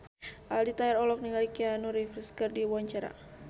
Aldi Taher olohok ningali Keanu Reeves keur diwawancara